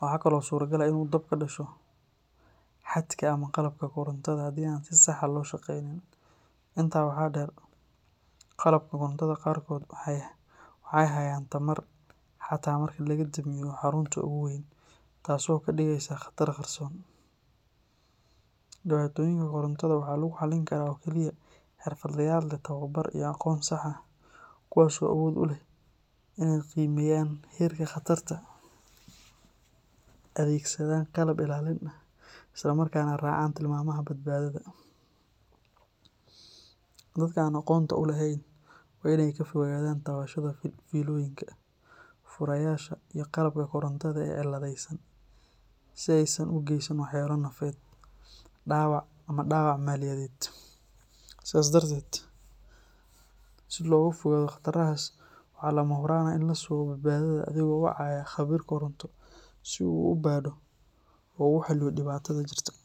Waxaa kale oo suuragal ah in dab ka dhasho xadhkaha ama qalabka korontada haddii aan si sax ah loo shaqeynin. Intaa waxaa dheer, qalabka korontada qaar kood waxay hayaan tamar xitaa marka laga damiyo xarunta ugu weyn, taas oo ka dhigeysa khatar qarsoon. Dhibaatooyinka korontada waxaa lagu xalin karaa oo keliya xirfadlayaal leh aqoon iyo tababar sax ah, kuwaas oo awood u leeh in aay qiimeeyan heerka qatarta, adeegsada qalab ilaalin ah isla markaana raaca tilmaamaha badbaadada. Dadka aan aqoonta u lahayn waa in ay ka fogaadaan taabashada fiilooyinka, furayaasha, iyo qalabka korontada oo cidlo yaalla si aysan u geysan waxyeelo naf ama dawaac mid dwaac maaliyadeed ah. Sidaas darteed, si loo yareeyo qatartaas, waa lama huraan in la sugo badbaadada iyadoo la wacayo khabiir koronto si uu u baaro oo uu u xalliyo dhibaatooyinka jira.